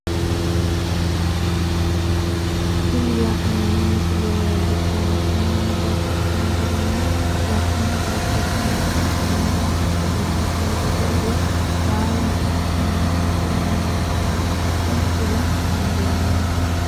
Tini la'neemo misile leellishanohu mannu babaxxino garinni wo'ma hasatosi mare afiranowa supermariketete woyi baalare afi'nanni suuqqe yine wosha woyi kula dandinanni